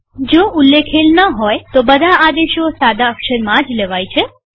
જ્યાં સુધી કઈ ઉલ્લેખેલ ન હોય ત્યાં સુધી બધા આદેશો સાદા અક્ષરમાં જ લેવાય છે